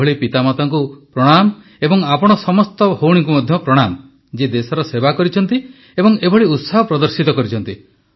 ଏଭଳି ପିତାମାତାଙ୍କୁ ପ୍ରଣାମ ଏବଂ ଆପଣ ସମସ୍ତ ଭଉଣୀଙ୍କୁ ମଧ୍ୟ ପ୍ରଣାମ ଯିଏ ଦେଶର ସେବା କରିଛନ୍ତି ଏବଂ ଏଭଳି ଉତ୍ସାହ ପ୍ରଦର୍ଶିତ କରିଛନ୍ତି